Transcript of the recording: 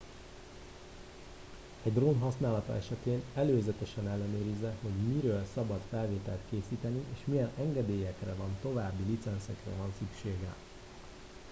egy drón használata esetén előzetesen ellenőrizze hogy miről szabad felvételt készíteni és milyen engedélyekre vagy további licencekre van szüksége